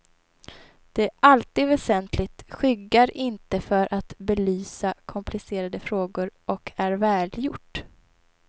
Det är alltid väsentligt, skyggar inte för att belysa komplicerade frågor och är välgjort.